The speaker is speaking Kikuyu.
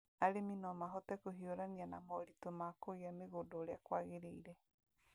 Arĩmi no mahote kũhiũrania na moritũ ma kũgĩa mĩgũnda ũrĩa kũagĩrĩire,